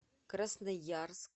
красноярск